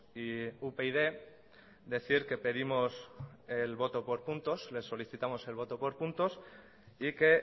y upyd decir que pedimos el voto por puntos les solicitamos el voto por puntos y que